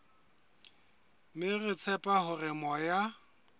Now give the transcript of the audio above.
mme re tshepa hore moya